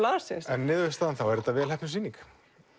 landsins en niðurstaðan þá er þetta velheppnuð sýning